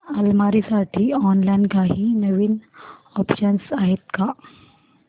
अलमारी साठी ऑनलाइन काही नवीन ऑप्शन्स आहेत का